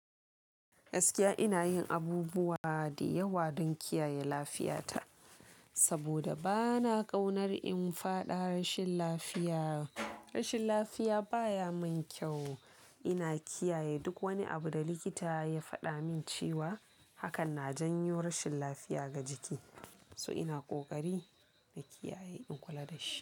Gaskiya ina yin abubuwa dayawa don kiyaye lafiyata saboda bana kaunar in fada rashin lafiya. Rashin lafiya baya min kyau. Ina kiyaye duk wani abu da likita ya fada min cewa hakan na janyo rashin lafiya ga jiki. So ina kokari na kiyaye in kula da shi.